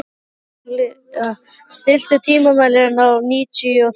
Elea, stilltu tímamælinn á níutíu og þrjár mínútur.